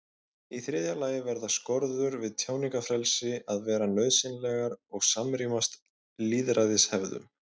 Í þriðja lagi verða skorður við tjáningarfrelsi að vera nauðsynlegar og samrýmast lýðræðishefðum.